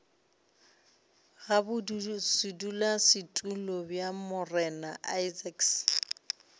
ga bodulasetulo bja morena isaacs